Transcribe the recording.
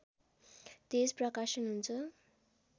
तेज प्रकाशन हुन्छ